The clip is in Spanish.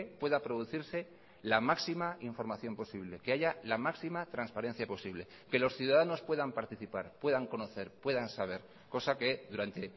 pueda producirse la máxima información posible que haya la máxima transparencia posible que los ciudadanos puedan participar puedan conocer puedan saber cosa que durante